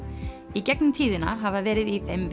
í gegnum tíðina hafa verið í þeim